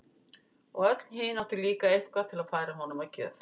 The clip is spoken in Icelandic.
Og öll hin áttu líka eitthvað til að færa honum að gjöf.